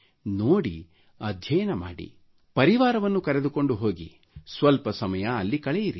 ನೋಡಿರಿ ಅಧ್ಯಯನ ಮಾಡಿರಿ ಪರಿವಾರವನ್ನು ತೆಗೆದುಕೊಂಡು ಹೋಗಿರಿ ಸ್ವಲ್ಪ ಸಮಯ ಅಲ್ಲಿ ಕಳೆಯಿರಿ